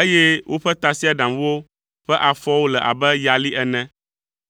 eye woƒe tasiaɖamwo ƒe afɔwo le abe yali ene.